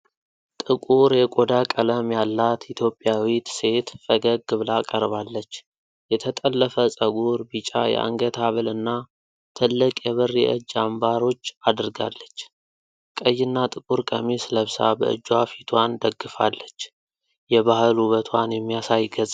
ትቁር የቆዳ ቀለም ያላት ኢትዮጵያዊት ሴት ፈገግ ብላ ቀርባለች። የተጠለፈ ፀጉር፣ ቢጫ የአንገት ሀብልና ትልቅ የብር የእጅ አምባሮች አድርጋለች። ቀይና ጥቁር ቀሚስ ለብሳ በእጇ ፊቷን ደግፋለች። የባህል ውበትዋን የሚያሳይ ገጽታ አላት።